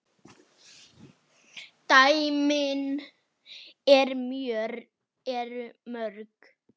Dæmin eru mörg.